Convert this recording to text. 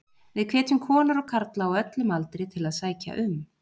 Við hvetjum konur og karla á öllum aldri til að sækja um.